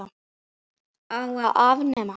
Á að afnema hana?